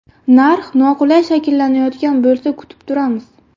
Narx noqulay shakllanayotgan bo‘lsa kutib turamiz.